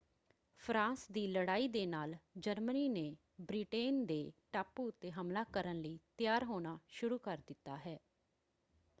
France ਦੀ ਲੜਾਈ ਦੇ ਨਾਲ ਜਰਮਨੀ ਨੇ ਬ੍ਰਿਟੇਨ ਦੇ ਟਾਪੂ ਉੱਤੇ ਹਮਲਾ ਕਰਨ ਲਈ ਤਿਆਰ ਹੋਣਾ ਸ਼ੁਰੂ ਕਰ ਦਿੱਤਾ ਹੈ।